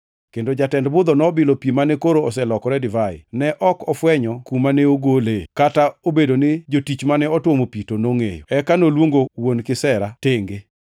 kendo jatend budho nobilo pi mane koro oselokore divai. Ne ok ofwenyo kuma ne ogolee, kata obedo ni jotich mane otuomo pi to nongʼeyo. Eka noluongo wuon kisera tenge,